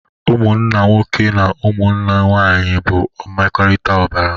Ụmụnna nwoke na ụmụnna nwanyị bụ mmekọrịta ọbara